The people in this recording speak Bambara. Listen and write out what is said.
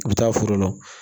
I bɛ taa foro la